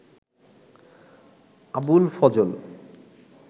Abul Fazal